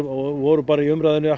og voru bara í umræðunni